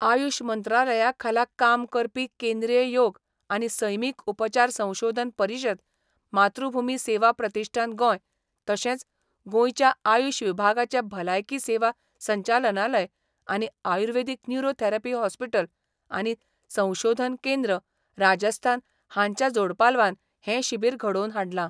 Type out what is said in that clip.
आयुष मंत्रालया खाला काम करपी केंद्रीय योग आनी सैमीक उपचार संशोधन परिशद, मातृभूमी सेवा प्रतिष्ठान गोंय, तशेंच गोंयच्या आयुष विभागाचें भलायकी सेवा संचालनालय आनी आयुर्वेदीक न्युरो थॅरपी हॉस्पिटल आनी संशोधन केंद्र राजस्थान हांच्या जोडपालवान हे शिबीर घडोवन हाडलां.